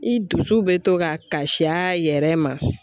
I dusu be to ka kasi a yɛrɛ ma